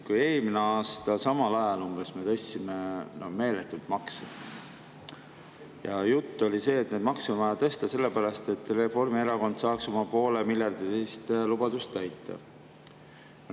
Kui eelmine aasta umbes samal ajal me tõstsime meeletult makse, siis jutt oli see, et makse on vaja tõsta, sellepärast et Reformierakond saaks oma poolemiljardilise lubaduse täita.